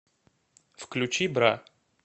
включи бра